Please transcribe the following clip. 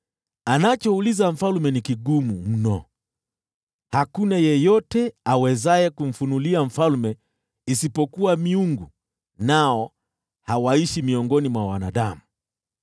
Anachouliza mfalme ni kigumu mno. Hakuna yeyote awezaye kumfunulia mfalme isipokuwa miungu, nao hawaishi miongoni mwa wanadamu.”